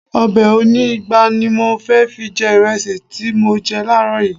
Ọbẹ̀ oní ìgbá ni mo fi jẹ ìrẹsì tí mo jẹ láàrọ̀ yìí